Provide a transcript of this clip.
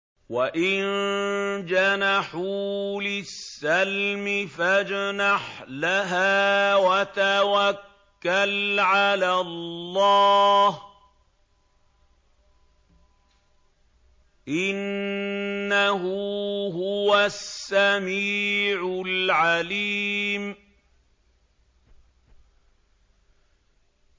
۞ وَإِن جَنَحُوا لِلسَّلْمِ فَاجْنَحْ لَهَا وَتَوَكَّلْ عَلَى اللَّهِ ۚ إِنَّهُ هُوَ السَّمِيعُ الْعَلِيمُ